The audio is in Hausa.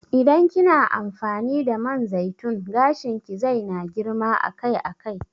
Idan kina amfani da man zaitun gashin ki zai na girma akai akai